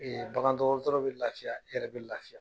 Ee bagan dɔgɔtɔrɔ be lafiya , e yɛrɛ be lafiya.